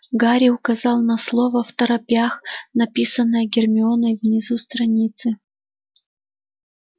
гарри указал на слово второпях написанное гермионой внизу страницы